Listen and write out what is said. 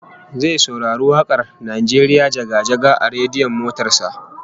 Zai saurari wak'ar "Najeriya jaga-jaga" a rediyon motar sa